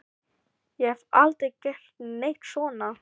Ég hef aldrei gert neitt svona.